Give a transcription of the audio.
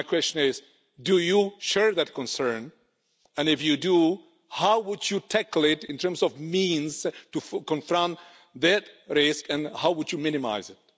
So my question is do you share that concern, and if you do, how would you tackle it in terms of means to confront that risk and how would you minimise it?